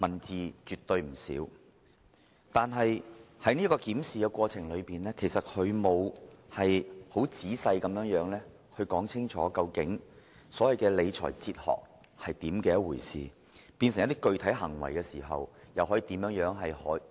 字數絕對不少，但在檢視過程中，他並沒有詳細說明所謂的理財哲學是甚麼，以及如何依據有關的理財哲學轉化成具體行為。